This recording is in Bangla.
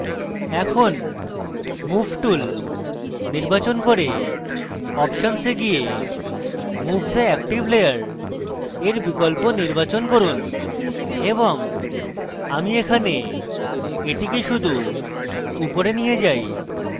এখন move tool নির্বাচন করে options এ go move the active layer এর বিকল্প নির্বাচন করুন এবং আমি এখানে এটিকে শুধু উপরে নিয়ে যাই